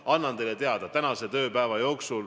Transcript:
Annan teile need teada tänase tööpäeva jooksul.